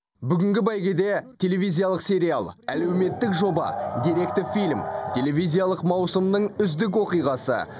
бүгінгі бәйгеде телевизиялық сериал әлеуметтік жоба деректі фильм телевизиялық маусымның үздік оқиғасы